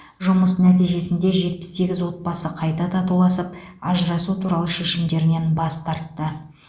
жұмыс нәтижесінде жетпіс сегіз отбасы қайта татуласып ажырасу туралы шешімдерінен бас тартты